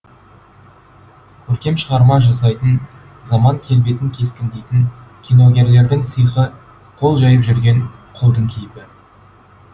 көркем шығарма жасайтын заман келбетін кескіндейтін киногерлердің сиқы қол жайып жүрген құлдың кейпі